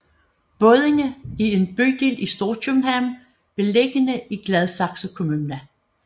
Buddinge er en bydel i Storkøbenhavn beliggende i Gladsaxe Kommune